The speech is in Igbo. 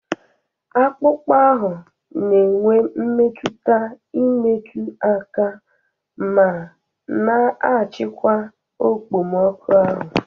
Akpụkpọ ahụ na-enwe mmetụta imetụ aka, ma na-achịkwa okpomọkụ ahụ.